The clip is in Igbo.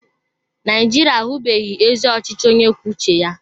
Naijiria ahụbeghị ezi ọchịchị onye kwuo uche ya.